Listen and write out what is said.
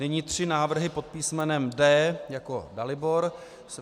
Nyní tři návrhy pod písmenem D jako Dalibor.